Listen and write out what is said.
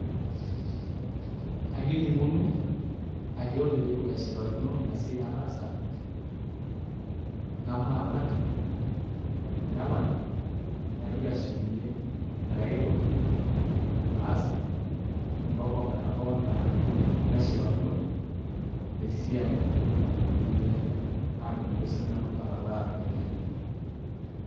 Akining'uno, ore pee itu eshipakino ina siai nataasa namaalak nepal naitoki ashukunyie likae kekun aas ompaka ometaba enaa neshipakino esiai enye naatumoki sinanu atalaa iropiyiani.